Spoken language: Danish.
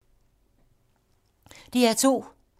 DR2